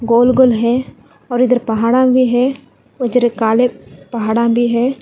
गोल गोल है और इधर पहाड़ों में भी है और इधर काले पहाड़ा भी है।